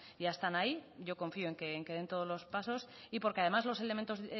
ya están ahí yo confío en que den todos los pasos y porque además los elementos